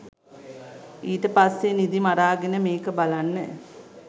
ඊට පස්සේ නිදි මරාගෙන මේක බලන්න